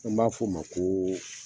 An b'a fo ma ko